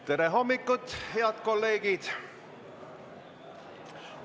Tere hommikust, head kolleegid!